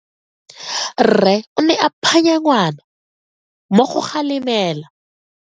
Rre o ne a phanya ngwana go mo galemela.